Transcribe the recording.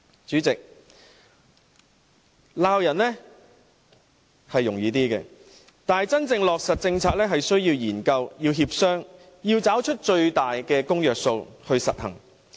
主席，罵人比較容易，但真正落實政策是需要研究和協商，要找出最大的公約數來實行。